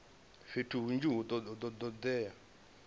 fhethu hunzhi hu do todea